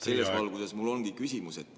Selles valguses mul ongi küsimus.